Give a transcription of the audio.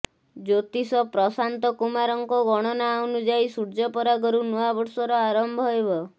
ଜ୍ୟୋତିଷ ପ୍ରଶାନ୍ତ କୁମାରଙ୍କ ଗଣନା ଅନୁଯାୟୀ ସୂର୍ଯ୍ୟପରାଗରୁ ନୂଆବର୍ଷର ଆରମ୍ଭ ହେବ